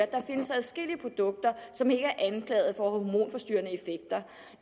der findes adskillige produkter som ikke er anklaget for